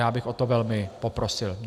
Já bych o to velmi poprosil.